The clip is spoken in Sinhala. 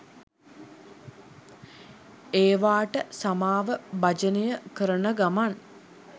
ඒවාට සමාව භජනය කරන ගමන්